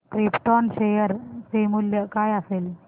krypton share चे मूल्य काय असेल